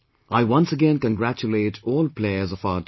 I once again congratulate all players of our team